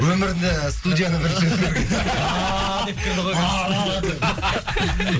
өмірінде студияға бірінші рет кірді ааа деп кірді ғой ааа деп